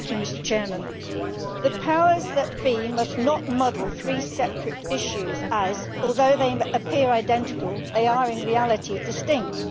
Mr President, the powers that be must not muddle three separate issues as, although they appear identical, they are in reality distinct.